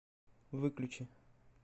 выключи